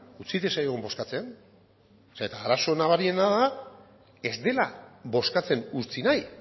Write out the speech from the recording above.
utzi diezaiogun bozkatzen zeren arazo nabariena da ez dela bozkatzen utzi nahi